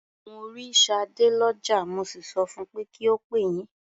Mo rí Ṣadé lọ́jà, mo sì sọ fun pé kí ó pè yín.